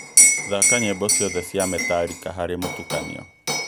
thaaka nyĩĩmbo ciothe cia metallica harĩ mũtukanio